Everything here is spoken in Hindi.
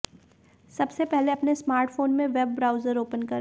सबसे पहले अपने स्मार्टफोन में वेब ब्राउजर ओपन करें